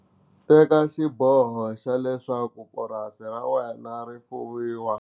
Teka xiboho xa leswaku purasi ra wena ri fuwiwa.